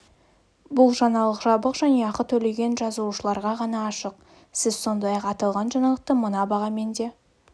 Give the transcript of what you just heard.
бұл жаңалық жабық және ақы төлеген жазылушыларға ғана ашық сіз сондай-ақ аталған жаңалықты мына бағамен де